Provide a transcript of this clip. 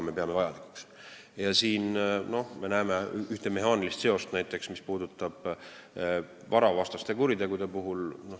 Me näeme näiteks ühte mehaanilist seost, mis puudutab varavastaseid kuritegusid.